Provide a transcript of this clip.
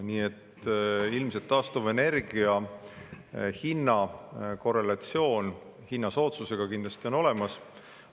Nii et ilmselt taastuvenergia hinna korrelatsioon hinna soodsusega kindlasti on olemas.